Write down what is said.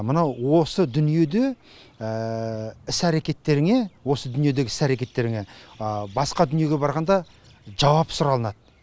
мынау осы дүниеде іс әрекеттеріңе осы дүниедегі іс әрекеттеріңе басқа дүниеге барғанда жауап сұралынады